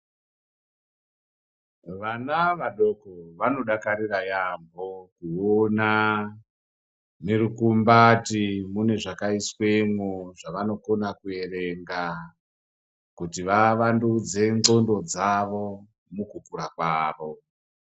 Vana vadoko vanodakarira yaamho kuona murukumbati mune zvakaiswemwo zvavanokona kuerenga kuti vavandudze ndxondo dzavo mukukura kwavo